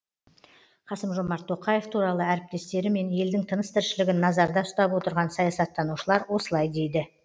қасым жомарт тоқаев туралы әріптестері мен елдің тыныс тіршілігін назарда ұстап отырған саясаттанушылар осылай дейді